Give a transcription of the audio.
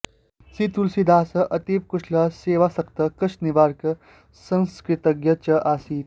श्रीतुलसीदासः अतीव कुशलः सेवासक्तः कष्टनिवारकः संस्कृतज्ञः च आसीत्